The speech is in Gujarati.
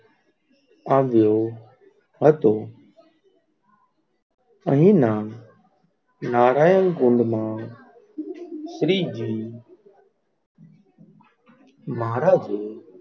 આવ્યો, હતો અહીંયા, નારાયણ કુંડ માં શ્રીજી મહારાજે,